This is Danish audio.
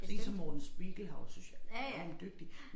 Sådan én som Morten Spiegelhauer synes jeg er enormt dygtig